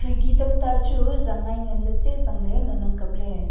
khirki tamta chu zangngai nganley tsezang ley ngan ang kapley.